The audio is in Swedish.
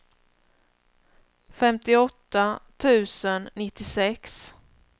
femtioåtta tusen nittiosex